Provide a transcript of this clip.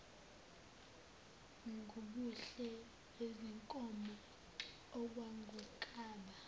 ngubuhle bezinkomo okwakungaba